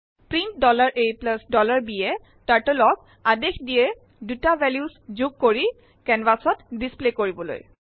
print a bএ Turtleক আদেশ দিয়ে ২টা ভেলো যোগ কৰি কেনভাচ ত ডিস্পলে কৰিবলৈ